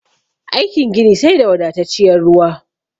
Aikin gini sai da wadatacciyar ruwa